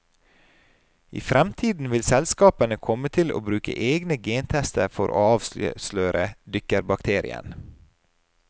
I fremtiden kan selskapene komme til å bruke egne gentester for å avsløre dykkerbakterien.